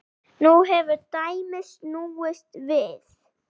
Nú hefur dæmið snúist við.